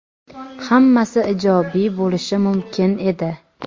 hammasi ijobiy bo‘lishi mumkin edi.